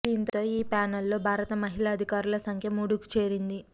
దీంతో ఈ ప్యానల్లో భారత మహిళా అధికారుల సంఖ్య మూడుకు చేరింది